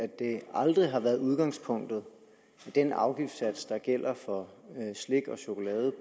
at det aldrig har været udgangspunktet at den afgiftssats der gælder for slik og chokolade